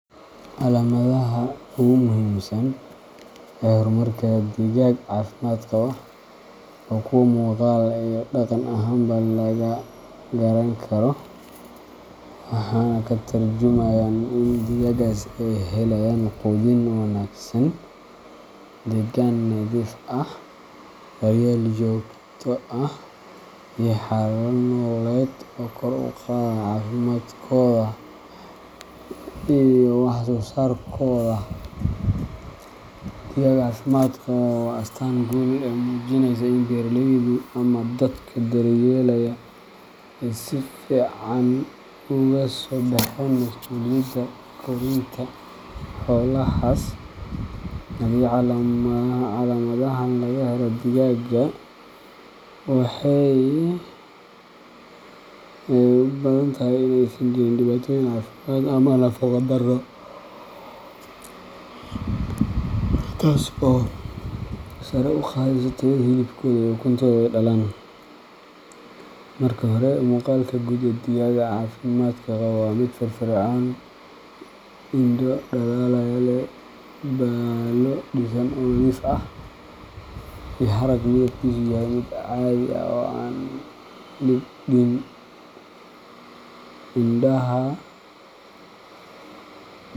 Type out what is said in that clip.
Calaamadaha ugu muhiimsan ee horumarka digaag caafimaad qaba waa kuwo muuqaal iyo dhaqan ahaanba laga garan karo, waxaana ay ka tarjumayaan in digaaggaas ay helayaan quudin wanaagsan, deegaan nadiif ah, daryeel joogto ah, iyo xaalado nololeed oo kor u qaadaya caafimaadkooda iyo wax-soo-saarkooda. Digaag caafimaad qaba waa astaan guul ah oo muujinaysa in beeraleydu ama dadka daryeelaya ay si fiican uga soo baxeen masuuliyadda korinta xoolahaas. Haddii calaamadahan laga helo digaagga, waxay u badan tahay in aysan jirin dhibaatooyin caafimaad ama nafaqo-darro, taasoo sare u qaadaysa tayada hilibkooda ama ukunta ay dhalaan. Marka hore, muuqaalka guud ee digaagga caafimaadka qaba waa mid firfircoon, indho dhalaalaya leh, baallo dhisan oo nadiif ah, iyo harag midabkiisu yahay mid caadi ah oo aan libdhin. Indhaha.